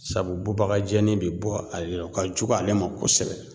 Sabu bubaga jɛni be bɔ ale la o ka jugu ale ma kosɛbɛ